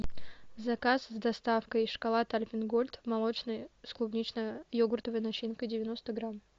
заказ с доставкой шоколад альпен гольд молочный с клубнично йогуртовой начинкой девяносто грамм